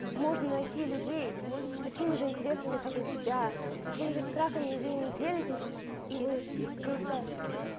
можно найти людей с такими же интересами как у тебя с таким же страхами и вы ими делитесь и вы просто